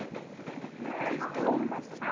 Gengu menn til dóma þar.